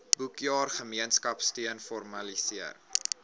boekjaar gemeenskapsteun formaliseer